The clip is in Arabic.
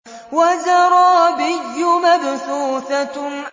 وَزَرَابِيُّ مَبْثُوثَةٌ